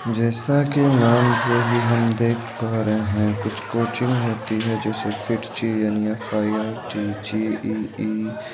जैसा कि नाम से ही हम देख पा रहे हैं कुछ कोचिंग होती है जैसे कि फिटजी एफआईआईटीजेईई |